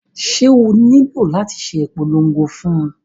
Ṣé o nílò láti ṣe ìpolongo fún un?